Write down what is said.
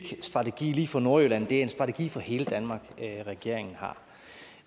strategi lige for nordjylland det er en strategi for hele danmark regeringen har